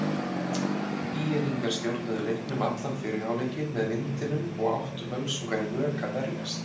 ÍR-ingar stjórnuðu leiknum allan fyrri hálfleikinn með vindinum og áttu Völsungar í vök að verjast.